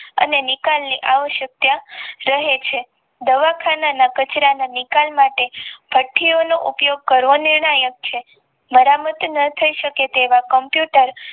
અને નિકાલ ની આવશ્યકતા સામે છે બેવસ્તના કચરા ના નિકાલ માટે સ્વાસ્થીઓનો ઉપયોગ કરવો નિર્ણાયક છે મારામાતી ન થઈ શકે તેવા કોમ્પ્યુટર